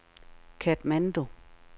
Katmandu